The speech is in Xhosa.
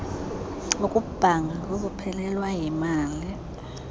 ukubhanga kukuphelelwa yimali